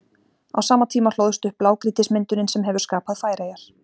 Á sama tíma hlóðst upp blágrýtismyndunin sem hefur skapað Færeyjar.